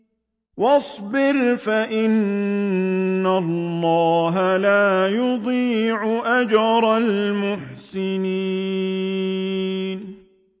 وَاصْبِرْ فَإِنَّ اللَّهَ لَا يُضِيعُ أَجْرَ الْمُحْسِنِينَ